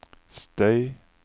støy